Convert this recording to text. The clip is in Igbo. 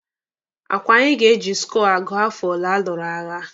Akwa anyị ga-eji skọọ agụ afọ ole alụrụ agha?